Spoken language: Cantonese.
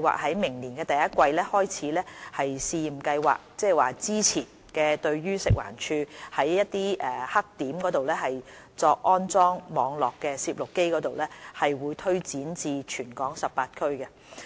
劃於明年第一季開始試驗計劃，即是早前食物環境衞生署在棄置垃圾黑點安裝網絡攝錄機的試驗計劃推展至全港18區。